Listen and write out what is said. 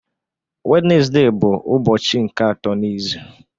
Wenezde bụ ụbọchị nke atọ n'izu